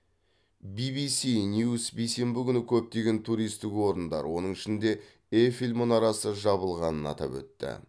бибиси ньюс бейсенбі күні көптеген туристік орындар оның ішінде эйфель мұнарасы жабылғанын атап өтті